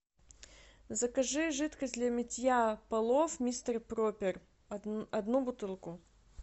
закажи жидкость для мытья полов мистер пропер одну бутылку